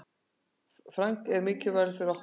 Frank var mikilvægur fyrir okkur.